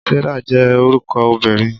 Sarah je orúko obìnrin